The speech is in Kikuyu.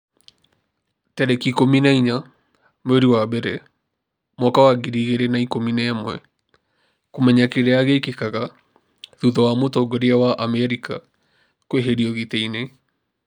tarĩki ikũmi na inya mweri wa mbere mwaka wa ngiri igĩrĩ na ikũmi na ĩmweKũmenya kĩrĩa gĩkĩkaga thutha wa mũtongoria wa Amerika kũeherio gĩtĩ-inĩ